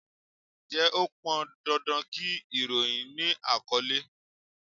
Ǹjẹ́ ó pọn dandan kí ìròyìn ni àkọ́lé?